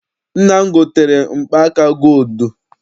Nna m gotere mkpa aka gooludu.